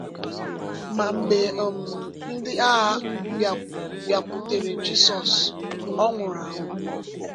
Ma mgbe um ndị agha bịakwutere Jizọs, Ọ nwụrụ anwụ.